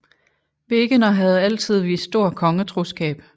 Wegener havde altid vist stor kongetroskab